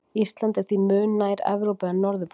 ísland er því mun nær evrópu en norðurpólnum